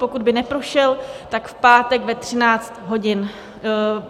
Pokud by neprošel, tak v pátek ve 13 hodin.